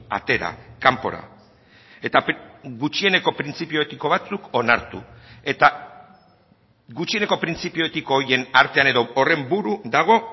atera kanpora eta gutxieneko printzipio etiko batzuk onartu eta gutxieneko printzipio etiko horien artean edo horren buru dago